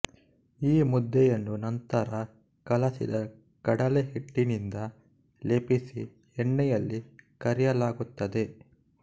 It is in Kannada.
ಈ ಮುದ್ದೆಯನ್ನು ನಂತರ ಕಲಸಿದ ಕಡಲೆ ಹಿಟ್ಟಿನಿಂದ ಲೇಪಿಸಿ ಎಣ್ಣೆಯಲ್ಲಿ ಕರಿಯಲಾಗುತ್ತದೆ